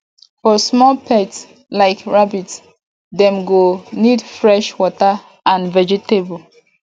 for small pets like rabbit dem go need fresh water and vegetable